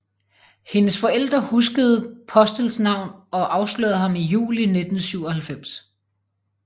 Hendes forældre huskede Postels navn og afslørede ham i juli 1997